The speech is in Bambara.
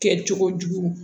Kɛ cogo jugu